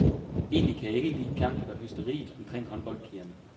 Egentlig kan jeg ikke lide pjanket og hysteriet omkring håndboldpigerne.